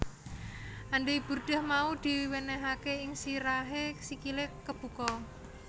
Andai burdah mau diwenehake ing sirahe sikile kebuka